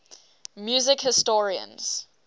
music historians